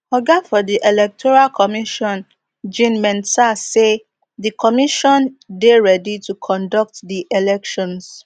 oga for di electoral commission jean mensah say di commission dey ready to conduct di elections